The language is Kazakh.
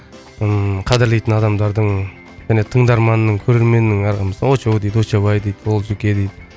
ыыы қадірлейтін адамдардың және тыңдарманның көрерменнің а мысалы очоу дейді очобай дейді олжеке дейді